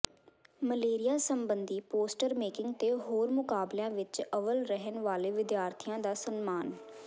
malaria ਸਬੰਧੀ poster making ਤੇ ਹੋਰ ਮੁਕਾਬਲਿਆਂ ਵਿੱਚ ਅਵੱਲ ਰਹਿਣ ਵਾਲੇ ਵਿਦਿਆਰਥੀਆਂ ਦਾ ਸਨਮਾਨ